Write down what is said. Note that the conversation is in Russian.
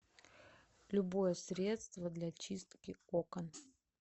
любое средство для чистки окон